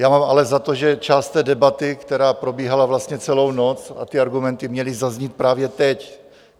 Já mám ale za to, že část té debaty, která probíhala vlastně celou noc, a ty argumenty měly zaznít právě teď.